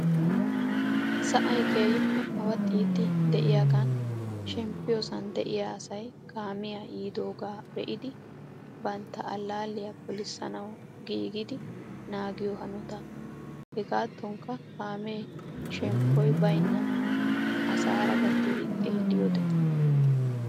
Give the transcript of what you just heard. Sa'ay keehippe awaxxiiddi de'iyagan shemppiyoosan de'iyaasay kamiya yiidooga be'iddi bantta allalliya pollissanawu giggidi naagiyoo hanotaa. Hegatonikka kame shemppoy baynnay asara gattido xeelliyoode .